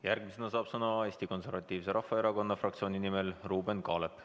Järgmisena saab sõna Eesti Konservatiivse Rahvaerakonna fraktsiooni nimel Ruuben Kaalep.